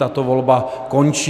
Tato volba končí.